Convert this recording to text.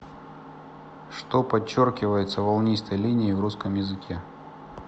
что подчеркивается волнистой линией в русском языке